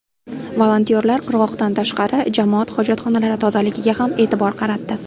Volontyorlar qirg‘oqdan tashqari, jamoat hojatxonalari tozaligiga ham e’tibor qaratdi.